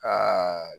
Aa